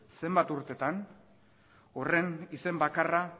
zenbat urteetan horren izen bakarra